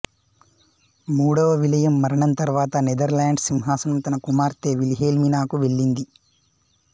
మూడవ విలియం మరణం తరువాత నెదర్లాండ్స్ సింహాసనం తన కుమార్తె విల్హెల్మినాకు వెళ్ళింది